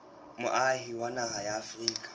moahi wa naha ya afrika